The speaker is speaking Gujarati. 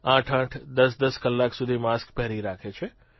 આઠઆઠ દસદસ કલાક સુધી માસ્ક પહેરી રાખે છે